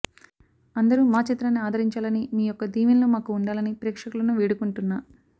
అందరు మాచిత్రాన్ని ఆదరించాలని మీ యొక్క దీవెనలు మాకు వుండాలని ప్రేక్షకులను వేడుకుంటున్నా